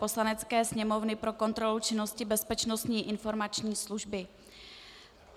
Poslanecké sněmovny pro kontrolu činnosti Bezpečnostní informační služby